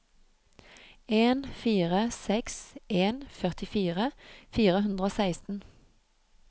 en fire seks en førtifire fire hundre og seksten